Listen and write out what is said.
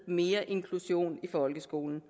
mere inklusion i folkeskolen